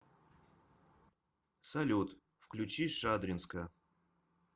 салют включи шадринска